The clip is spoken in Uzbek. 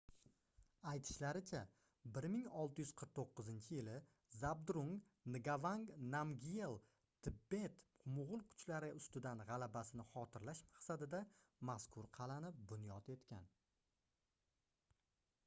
aytishlaricha 1649-yili zabdrung ngavang namgyel tibet-moʻgʻul kuchlariga ustidan gʻalabasini xotirlash maqsadida mazkur qalʼani bunyod etgan